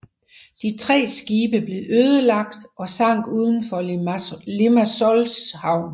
De tre skibe blev ødelagt og sank uden for Limassols havn